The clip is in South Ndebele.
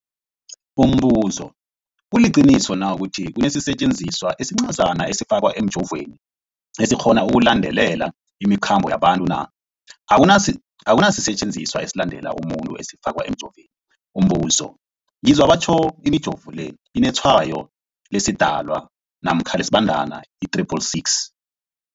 Umbuzo, kuliqiniso na ukuthi kunesisetjenziswa esincazana esifakwa emijovweni, esikghona ukulandelela imikhambo yabantu? Akuna sisetjenziswa esilandelela umuntu esifakwe emijoveni. Umbuzo, ngizwa batjho imijovo le inetshayo lesiDalwa namkha lesiBandana i-666.